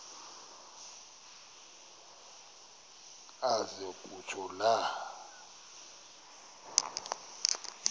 aze kutsho la